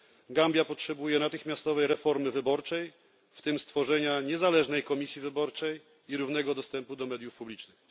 Gambia potrzebuje natychmiastowej reformy wyborczej, w tym stworzenia niezależnej komisji wyborczej, i równego dostępu do mediów publicznych.